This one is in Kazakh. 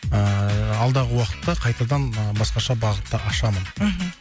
ыыы алдағы уақытта қайтадан ы басқаша бағытта ашамын мхм